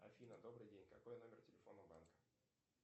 афина добрый день какой номер телефона у банка